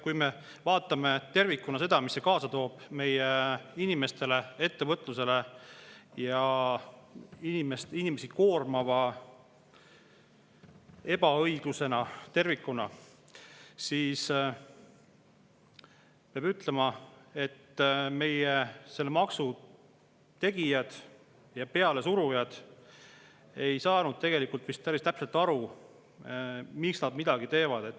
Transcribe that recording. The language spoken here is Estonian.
Kui me vaatame tervikuna seda, mis see kaasa toob meie inimestele ja ettevõtlusele, inimesi koormava ebaõiglusena tervikuna, siis peab ütlema, et selle maksu tegijad ja pealesurujad ei saanud vist päris täpselt aru, miks nad midagi teevad.